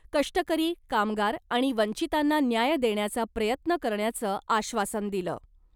कष्टकरी , कामगार आणि वंचितांना न्याय देण्याचा प्रयत्न करण्याचं आश्वासन दिलं .